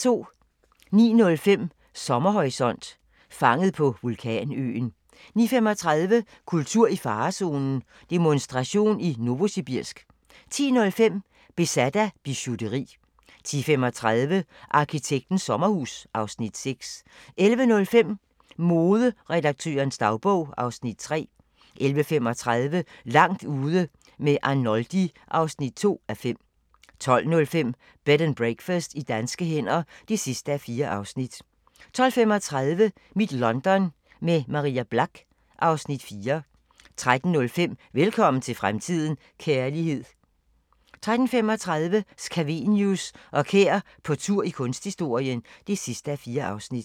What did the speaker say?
09:05: Sommerhorisont: Fanget på vulkanøen 09:35: Kultur i farezonen – Demonstration i Novosibirsk 10:05: Besat af bijouteri 10:35: Arkitektens sommerhus (Afs. 6) 11:05: Moderedaktørens dagbog (Afs. 3) 11:35: Langt ude med Arnoldi (2:5) 12:05: Bed and Breakfast i danske hænder (4:4) 12:35: Mit London – med Maria Black (Afs. 4) 13:05: Velkommen til fremtiden – kærlighed 13:35: Scavenius og Kær på tur i kunsthistorien (4:4)